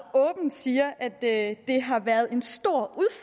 åbent siger at det har været en stor